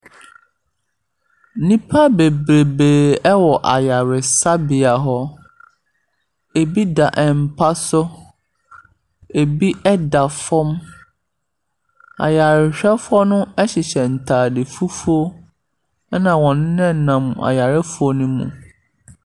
Nnipa bebrebee wɔ ayaresabea hɔ. Bi da mpa so, ɛbi da fam. Ayarehwɛfoɔ no hyehyɛ ntade fufuo, ɛna wɔnenam nenam ayarefoɔ no mu.